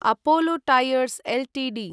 Apollo Tyres Ltd